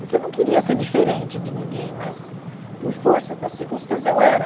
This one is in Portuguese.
Porque eu não queria ser diferente de ninguém, mas por força das circunstâncias eu era.